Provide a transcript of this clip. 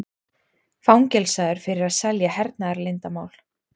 Fangelsaður fyrir að selja hernaðarleyndarmál